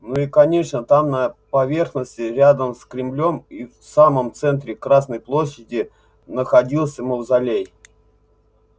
ну и конечно там на поверхности рядом с кремлём и в самом центре красной площади находился мавзолей